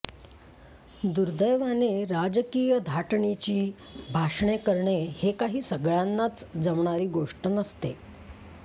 दुर्दैवाने राजकीय धाटणीची भाषणे करणे हे काही सगळ्यांना जमणारी गोष्ट नसते